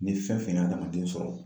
Ni fɛn fɛn ye adamaden sɔrɔ